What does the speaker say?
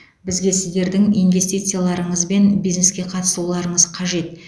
бізге сіздердің инвестицияларыңыз бен бизнеске қатысуларыңыз қажет